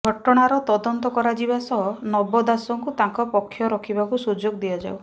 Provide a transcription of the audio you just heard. ଘଟଣାର ତଦନ୍ତ କରାଯିବା ସହ ନବ ଦାସଙ୍କୁ ତାଙ୍କ ପକ୍ଷ ରଖିବାକୁ ସୁଯୋଗ ଦିଆଯାଉ